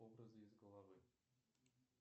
образы из головы